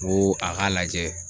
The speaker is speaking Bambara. Ŋoo a k'a lajɛ